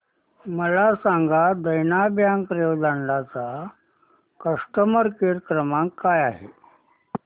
मला सांगा देना बँक रेवदंडा चा कस्टमर केअर क्रमांक काय आहे